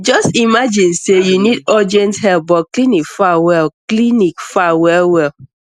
just imagine say you need urgent help but clinic far well clinic far well well